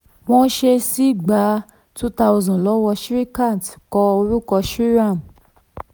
wọ́n ṣẹ̀ ṣì gba two thousand lọ́wọ́ shrikant kọ orúkọ shriman.